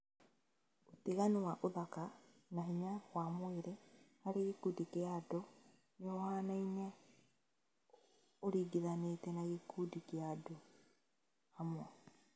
ũtiganu wa ũthaka na hinya wa mwĩrĩ harĩ gĩkundi kĩa andũ nĩ ũhanaine ũringithanitie na gĩkundi kia andũ hamwe